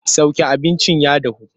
Sauke abincin ya dahu!